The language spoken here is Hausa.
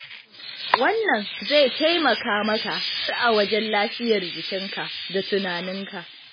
Wannan zai taimaka maka har a wajen lafiyar jikinka da tunaninka.